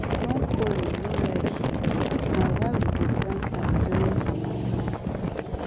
broccoli no like heat na why we dey plant am during harmattan